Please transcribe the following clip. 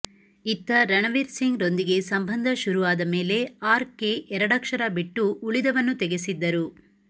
ಇತ್ತ ರಣ್ ವೀರ್ ಸಿಂಗ್ ರೊಂದಿಗೆ ಸಂಬಂಧ ಶುರು ಆದ ಮೇಲೆ ಆರ್ ಕೆ ಎರಡಕ್ಷರ ಬಿಟ್ಟು ಉಳಿದವನ್ನು ತೆಗೆಸಿದ್ದರು